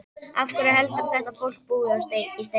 Af hverju heldurðu að þetta fólk búi í steinum?